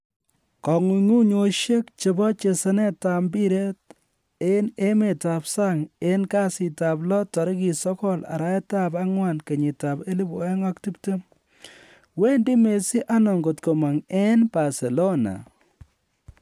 Kong'unguyosiek chebo chesanetab mpiret en emetab sang en kasitab lo 09/04/2020: wendi Messi ano ngot komony en Barcelona?